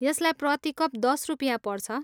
यसलाई प्रति कप दस रुपियाँ पर्छ।